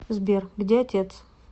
сбер где отец